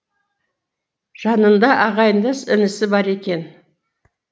жанында ағайындас інісі бар екен